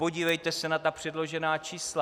Podívejte se na ta předložená čísla.